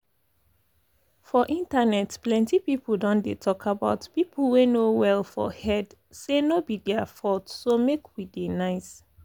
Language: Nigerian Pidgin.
for internet plenty people don dey talk about people wey no well for head say no be their faulth so make we dey nice.